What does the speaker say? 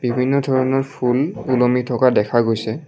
বিভিন্ন ধৰণৰ ফুল ওলমি থকা দেখা গৈছে।